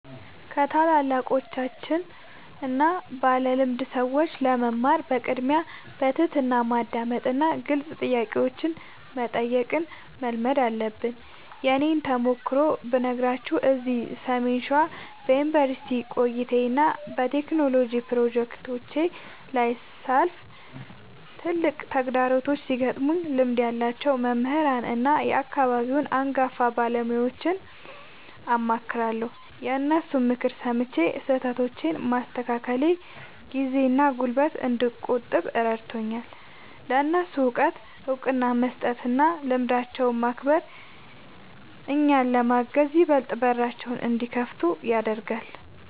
ከታላላቆችና ባለልምድ ሰዎች ለመማር በቅድሚያ በትሕትና ማዳመጥንና ግልጽ ጥያቄዎችን መጠየቅን መልመድ አለብን። የእኔን ተሞክሮ ብነግራችሁ፤ እዚህ ሰሜን ሸዋ በዩኒቨርሲቲ ቆይታዬና በቴክኖሎጂ ፕሮጀክቶቼ ላይ ሳልፍ፣ ትላልቅ ተግዳሮቶች ሲገጥሙኝ ልምድ ያላቸውን መምህራንና የአካባቢውን አንጋፋ ባለሙያዎችን አማክራለሁ። የእነሱን ምክር ሰምቼ ስህተቶቼን ማስተካከሌ ጊዜና ጉልበት እንድቆጥብ ረድቶኛል። ለእነሱ እውቀት እውቅና መስጠትና ልምዳቸውን ማክበር፣ እኛን ለማገዝ ይበልጥ በራቸውን እንዲከፍቱልን ያደርጋል።